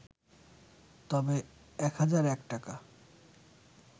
তবে ১০০১ টাকা